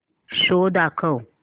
show दाखव